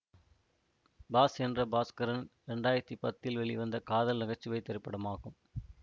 pass என்கிற பாஸ்கரன் இரண்டு ஆயிரத்தி பத்தில் வெளிவந்த காதல் நகைச்சுவை திரைப்படமாகும்